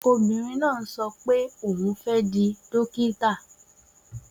Obìnrin náà ń sọ pé òun fẹ́ di dókítà.